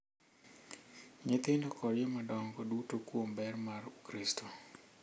Nyithindo kod jomadongo duto kuom ber mar Ukaristia,